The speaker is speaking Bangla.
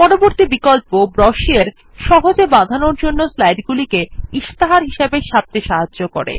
পরবর্তী বিকল্প ব্রোচুরে সহজে বাঁধানোর জন্য স্লাইডগুলিকে ইস্তাহার হিসাবে ছাপতে সাহায্য করে